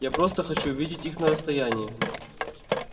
я просто хочу видеть их на расстоянии